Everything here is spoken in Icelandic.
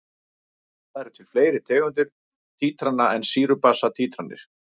Það eru til fleiri tegundir títrana en sýru-basa títranir.